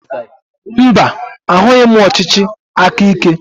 Mba, ahụghị m ọchịchị aka ike.